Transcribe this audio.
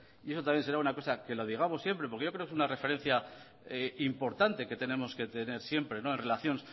y eso también será una cosa que lo digamos siempre porque yo creo que es una referencia importante que tenemos que tener siempre relación